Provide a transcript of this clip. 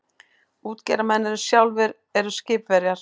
Útgerðarmenn sem sjálfir eru skipverjar.